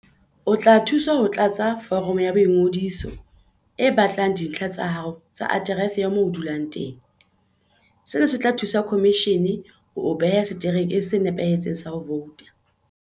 O tla thuswa ho tlatsa foromo ya boingodiso e batlang dintlha tsa hao tsa aterese ya moo o dulang teng. Sena se tla thusa khomishene ho o beha seterekeng se nepahetseng sa ho vouta.